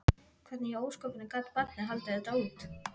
Hvernig í ósköpunum gat barnið haldið þetta út?